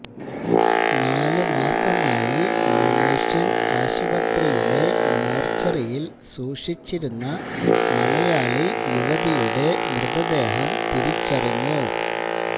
നാല് മാസമായി മലേഷ്യന് ആശുപത്രിയിലെ മോര്ച്ചറിയില് സൂക്ഷിച്ചിരുന്ന മലയാളി യുവതിയുടെ മൃതദേഹം തിരിച്ചറിഞ്ഞു